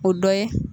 O dɔ ye